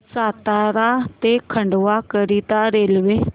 सातारा ते खंडवा करीता रेल्वे